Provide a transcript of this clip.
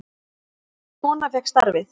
Ítölsk kona fékk starfið.